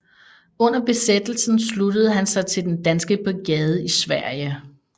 Under Besættelsen sluttede han sig til Den Danske Brigade i Sverige